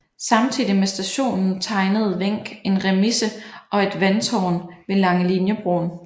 Samtidigt med stationen tegnede Wenck en remise og et vandtårn ved Langeliniebroen